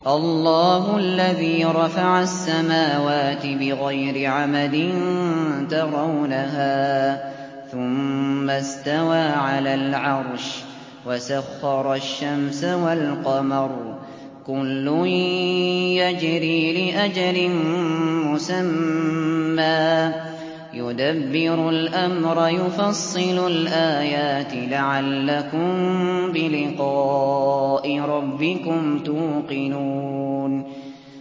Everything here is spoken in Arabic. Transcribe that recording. اللَّهُ الَّذِي رَفَعَ السَّمَاوَاتِ بِغَيْرِ عَمَدٍ تَرَوْنَهَا ۖ ثُمَّ اسْتَوَىٰ عَلَى الْعَرْشِ ۖ وَسَخَّرَ الشَّمْسَ وَالْقَمَرَ ۖ كُلٌّ يَجْرِي لِأَجَلٍ مُّسَمًّى ۚ يُدَبِّرُ الْأَمْرَ يُفَصِّلُ الْآيَاتِ لَعَلَّكُم بِلِقَاءِ رَبِّكُمْ تُوقِنُونَ